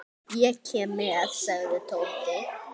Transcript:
Ég kem með sagði Tóti.